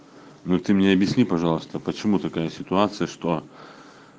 ну ты мне объясни пожалуйста почему такая ситуация что